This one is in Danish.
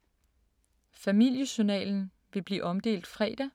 Familiejournalen vil blive omdelt fredag.